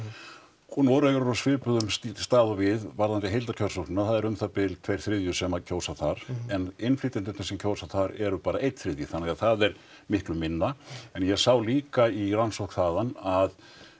og Noregur er á svipuðum stað og við varðandi heildarkjörsóknina það eru um það bil tveir þriðju sem kjósa þar en innflytjendurnir sem kjósa þar eru bara einn þriðji þannig að það er miklu minna en ég sá líka í rannsókn þaðan að